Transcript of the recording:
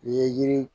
Ye yiri